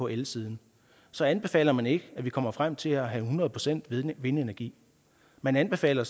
elsiden så anbefaler man ikke at vi kommer frem til at have hundrede procent vindenergi man anbefaler